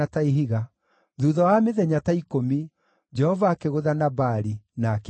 Thuutha wa mĩthenya ta ikũmi, Jehova akĩgũtha Nabali, nake agĩkua.